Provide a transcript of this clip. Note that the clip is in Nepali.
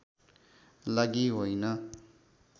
लागि होइन